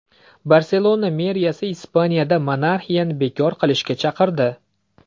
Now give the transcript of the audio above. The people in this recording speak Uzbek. Barselona meriyasi Ispaniyada monarxiyani bekor qilishga chaqirdi.